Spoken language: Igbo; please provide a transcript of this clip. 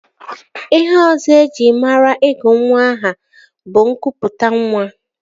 Ihe ọzọ eji mara ịgụ nwa aha bụ ịkụpụtanwa